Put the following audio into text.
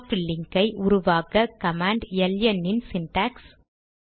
soft link ஐ உருவாக்க command ln இன் சிண்டாக்ஸ்